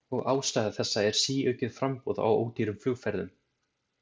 Og ástæða þessa er síaukið framboð á ódýrum flugferðum.